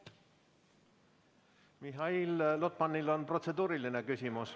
Mihhail Lotmanil on protseduuriline küsimus.